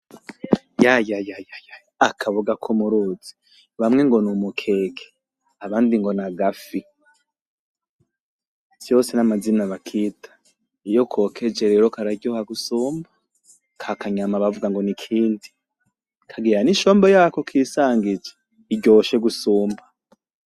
Yayayaya, akaboga ko muruzi, bamwe ngo n'umukeke abandi ngo n'agafi, vyose n'amazina bakita. Iyo kokeje kararyoha gusumba, kakanyama bavuga ngo n'ikindi, kagira n'ishombo yako kisangije iryoshe gusumba.